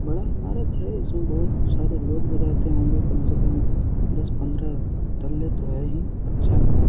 बड़ा इमारत है इसमें बहुत सारे लोग भी रहते होंगे कम से कम दस-पंद्रह तल्ले तो है ही अच्छा है।